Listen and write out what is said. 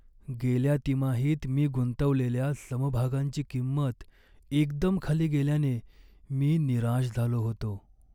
गेल्या तिमाहीत मी गुंतवलेल्या समभागांची किंमत एकदम खाली गेल्याने मी निराश झालो होतो.